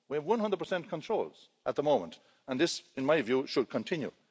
We have 100 controls at the moment, and this, in my view, should continue.